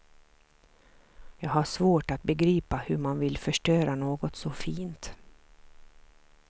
Jag har svårt att begripa hur man vill förstöra något så fint.